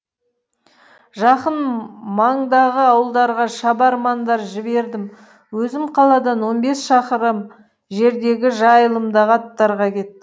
жақын маңдағы ауылдарға шабармандар жібердім өзім қаладан он бес шақырым жердегі жайылымдағы аттарға кеттім